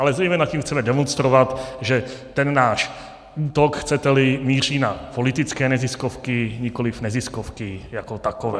Ale zejména tím chceme demonstrovat, že ten náš útok, chcete-li, míří na politické neziskovky, nikoliv neziskovky jako takové.